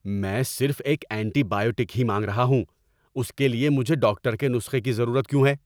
میں صرف ایک اینٹی بائیوٹک ہی مانگ رہا ہوں! اس کے لیے مجھے ڈاکٹر کے نسخے کی ضرورت کیوں ہے؟